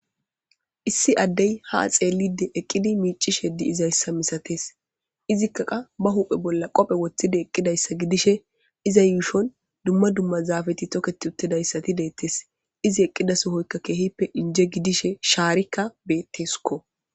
issi addey ha axeellide eqqidi miicishe di izayssa misatees izikkaqa ba huphe bolla qophe woththide eqqidayssa gidishe iza yuushon dumma dumma zaafeti toketi uttidayssati deettes izi eqqida sohoykka keehippe inje gidishe shaarikka betteskko